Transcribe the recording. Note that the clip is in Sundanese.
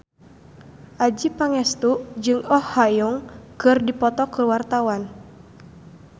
Adjie Pangestu jeung Oh Ha Young keur dipoto ku wartawan